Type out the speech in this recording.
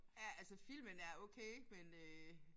Ja altså filmene er okay men øh